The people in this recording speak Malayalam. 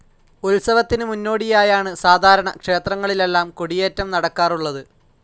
ഉത്സവത്തിന് മുന്നോടിയായാണ് സാധാരണ ക്ഷേത്രങ്ങളിലെല്ലാം കൊടിയേറ്റം നടക്കാറുള്ളത്.